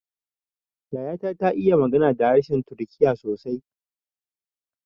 Yaya ta ta iya magana da harshen turkiya sosai